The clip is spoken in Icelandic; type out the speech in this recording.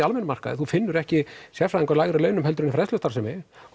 almennum markaði þú finnur ekki sérfræðinga á lægri launum heldur en við fræðslustarfsemi